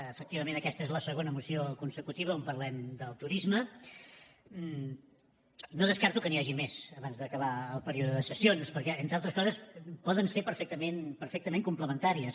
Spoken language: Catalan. efectivament aquesta és la segona moció consecutiva on parlem del turisme no descarto que n’hi hagi més abans d’acabar el període de sessions perquè entre altres coses poden ser perfectament complementàries